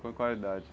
com qual idade?